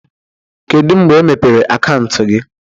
Kedu mgbe emepere akaụntụ gị?